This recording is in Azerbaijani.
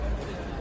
Ondan yox.